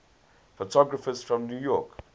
photographers from new york